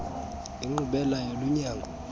inkqubela yolu nyango